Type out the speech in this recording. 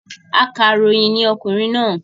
Akàròyìn ní okùnrin náà